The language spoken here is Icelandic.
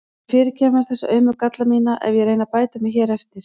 Viltu fyrirgefa mér þessa aumu galla mína ef ég reyni að bæta mig hér eftir?